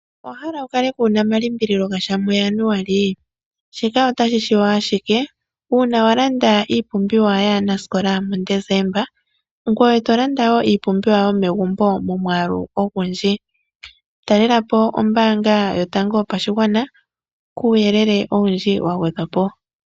Owahala wu kale kuna omalimbililo gasha mu Januali? Shika otashi shiwa ashike uuna wa landa iipumbiwa yaanasikola muDesemba, ngoye tolanda wo iipumbiwa yomegumbo momwaalu ogundji. Talelapo ombaanga yotango yopashigwana, kuuyelele owundji wa gwedhwapo.